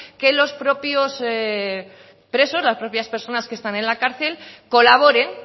que los propios presos las propias personas que están en la cárcel colaboren